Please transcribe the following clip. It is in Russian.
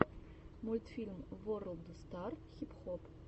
мультфильм ворлд стар хип хоп